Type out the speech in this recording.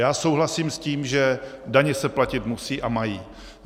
Já souhlasím s tím, že daně se platit musí a mají.